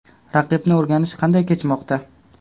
Raqibni o‘rganish qanday kechmoqda?